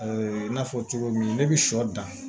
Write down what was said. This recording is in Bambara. i n'a fɔ cogo min ne bi sɔ dan